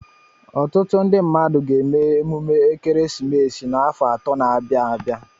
Ọtụtụ ndị mmadụ ga-eme emume ekeresimesi n'afọ atọ na-abịa abịa.